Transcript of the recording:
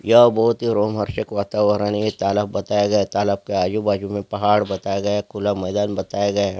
ये बहुत ही रोमांचक वातावरण है तालाब बताया गया है तालाब के आजू बाजू मे पहाड़ बताया गया है खुला मैदान बताया गया है।